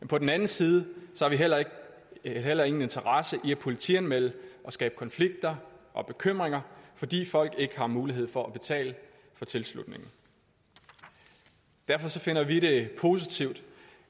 på den anden side har vi heller ingen interesse i at politianmelde og skabe konflikter og bekymringer fordi folk ikke har mulighed for at betale for tilslutningen derfor finder vi det positivt